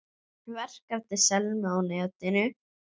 Verk eftir Selmu á netinu